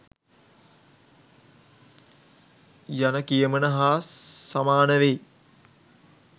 යන කියමන හා සමානවෙයි